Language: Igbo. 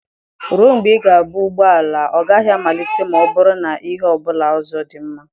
Ruo mgbe ị ga-ebu ụgbọ ala, ọ gaghị amalite ma ọ bụrụ na ihe ọ bụla ọzọ dị mma.